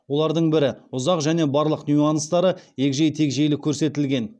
олардың бірі ұзақ және барлық нюанстары егжей тегжейлі көрсетілген